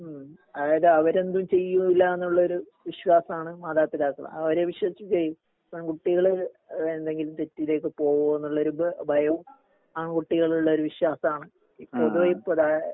ഉം അതായത് അവര് എന്തും ചെയ്യൂല്ലാന്നുള്ളൊരു വിശ്വാസാണ് മാതാപിതാക്കള് അവരെ വിശ്വസിച്ചിട്ട് പെൺകുട്ടികള് എന്തെങ്കിലും തെറ്റിലേക്ക് പോവോന്നുള്ളൊരു ഇത് ഭയം ആൺകുട്ടികളിലുള്ളൊരു വിശ്വാസാണ് ഈ പൊതുവെ ഇപ്പൊ